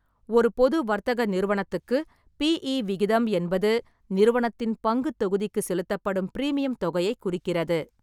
ஒரு பொது வர்த்தக நிறுவனத்துக்கு, பிஈ விகிதம் என்பது நிறுவனத்தின் பங்குத் தொகுதிக்குச் செலுத்தப்படும் பிரீமியம் தொகையைக் குறிக்கிறது.